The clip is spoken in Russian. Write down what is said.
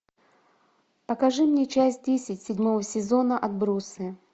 покажи мне часть десять седьмого сезона отбросы